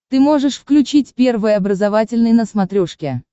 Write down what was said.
ты можешь включить первый образовательный на смотрешке